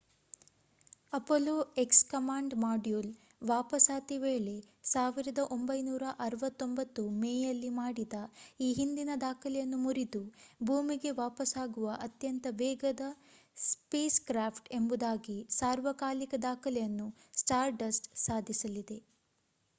Apollo X command module ವಾಪಸಾತಿ ವೇಳೆ 1969 ಮೇಯಲ್ಲಿ ಮಾಡಿದ ಈ ಹಿಂದಿನ ದಾಖಲೆಯನ್ನು ಮುರಿದು ಭೂಮಿಗೆ ವಾಪಸಾಗುವ ಅತ್ಯಂತ ವೇಗದ ಸ್ಪೇಸ್‌ಕ್ರಾಫ್ಟ್‌ ಎಂಬುದಾಗಿ ಸಾರ್ವಕಾಲಿಕ ದಾಖಲೆಯನ್ನು ಸ್ಟಾರ್‌ಡಸ್ಟ್ ಸಾಧಿಸಲಿದೆ